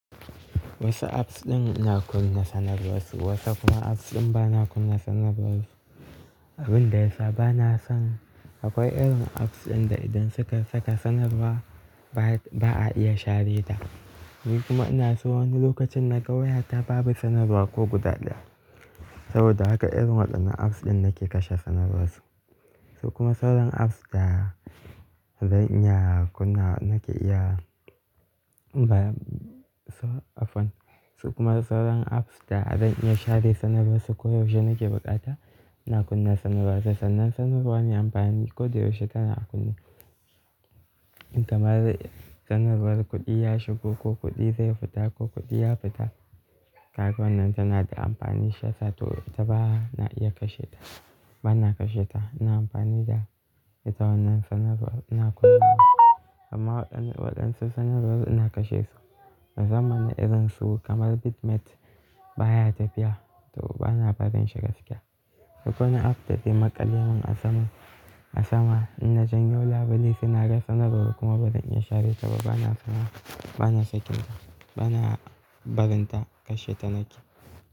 Wasu apps ɗin ina kunna sanarwarsu, wasu kuma apps ɗin bana kunna sanarwar su. Abin da ya sa bana son akwai irin apps ɗin da idan suka saka sanarwa ba a iya share ta. Ni kuma ina so wani lokacin na ga wayata ba bi sanarwa ko guda ɗaya. Saboda haka irin waɗannan apps ɗin nake kashe sanarwarsu. Su kuma sauran apps da zan iya kunna nake iya ba, so-- afwan. Su kuma sauran apps da zan iya share sanarwarsu ko yaushe nake buƙata ina kunna sanarwarsu. Sannan sanarwar mai amfani koyaushe tana a kunne. Kamar sanarwar kuɗi ya shigo ko kuɗi zai fita ko kuɗi ya fita. Kagawannan tana da amfani shiyasa to ita ba na iya kashe ta. Bana kashe ta, ina amfani da ita. Wannan sanarwar ina kunna, amma waɗansu sanarwar ina kashe su. Na zama na irin su kamar Bitmat baya tafiya to bana barin shi gaskiya. Duk wani app da ze maƙale mun a sama, a sama in na janyo labule saina ga sanarwar kuma bazan iya share ta ba bana sana, bana sakin ta. Bana barin ta, kashe ta nake.